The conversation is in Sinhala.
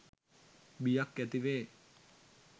බියක් ඇති වේ